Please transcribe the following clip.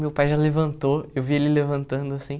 Meu pai já levantou, eu vi ele levantando, assim.